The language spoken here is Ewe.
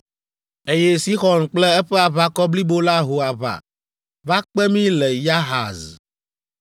Eye Sixɔn kple eƒe aʋakɔ blibo la ho aʋa va kpe mí le Yahaz.